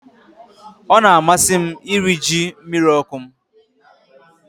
Ọ na-amasị m iri ji mmiri ọkụ m